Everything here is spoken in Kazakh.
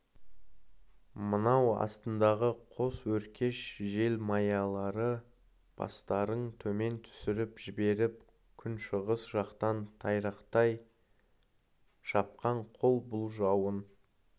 мынау астындағы қос өркеш желмаялары бастарын төмен түсіріп жіберіп күншығыс жақтан тайрақтай шапқан қол бұл жауын